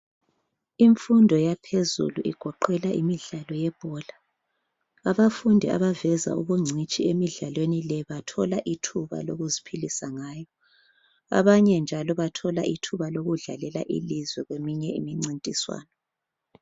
Imfundo yaphezulu igoqela imidlalo yebhola. Abafundi abaveza ubungcitshi emidlalweni le bathola ithuba lokuzphilisa ngayo. Abanye njalo bathola ithuba lokudlalela ilizwe kweminye imincintiswano.